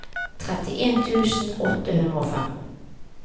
trettien tusen åtte hundre og fem